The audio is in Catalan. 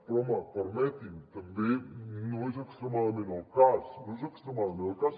però home permeti’m també no és extremadament el cas no és extremadament el cas